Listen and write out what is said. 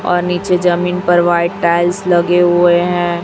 और नीचे जमीन पर व्हाइट टाइल्स लगे हुई है।